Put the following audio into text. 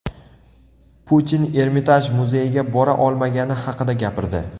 Putin Ermitaj muzeyiga bora olmagani haqida gapirdi.